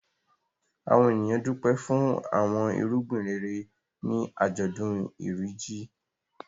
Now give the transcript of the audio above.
Àwọn ènìyàn dúpẹ́ fún àwọn irúgbìn rere ní àjọ̀dún Iri Ji.